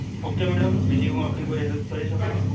okay madam. બીજું હું આપણી કોઈ help કરી શકું?